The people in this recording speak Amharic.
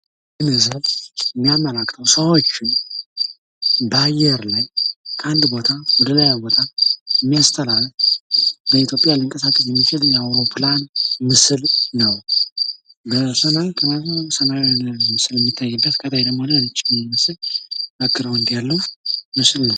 ይህ ምስል የሚያመላክተው ሰዎችን በአየር ላይ ከአንድ ቦታ ወደሌላ ቦታ የሚያስተላልፍ በኢትዮጵያ ሊቀሳቀስ የሚችል የአውሮፕላን ምስል ነው። በሰማይ ሰማያዊ ምስል የሚታይበት ከታች ደሞ ነጭ ምስል ባግራውድ ያለው ምስል ነው።